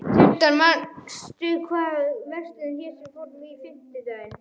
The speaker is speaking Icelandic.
Tindar, manstu hvað verslunin hét sem við fórum í á fimmtudaginn?